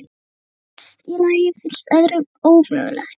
Það sem einum finnst í lagi finnst öðrum ómögulegt.